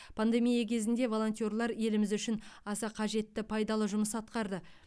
пандемия кезінде волонтерлер еліміз үшін аса қажетті пайдалы жұмыс атқарды